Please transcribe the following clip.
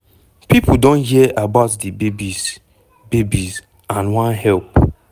pipo don hear about di babies babies and wan help.